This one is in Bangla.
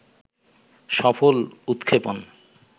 সফল উৎক্ষেপণ